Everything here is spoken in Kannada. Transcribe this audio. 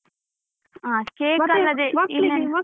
ಹ cake ಅಲ್ಲದೆ